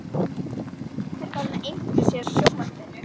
Pabbi var aftur farinn að einbeita sér að sjónvarpinu.